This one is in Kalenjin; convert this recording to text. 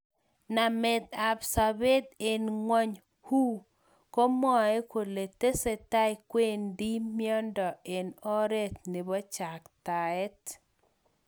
Namet ab sabet eng ngony WHO komwae kole tesetai kwendi mnyendo eng oret nebo chaktaet.